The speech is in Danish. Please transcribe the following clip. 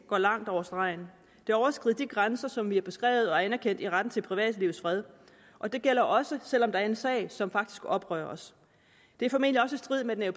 går langt over stregen det overskrider de grænser som vi har beskrevet og anerkendt i retten til privatlivets fred og det gælder også selv om der er en sag som faktisk oprører os det er formentlig også i strid med den